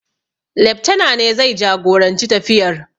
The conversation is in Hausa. Leftana ne zai jagoranci tafiyar.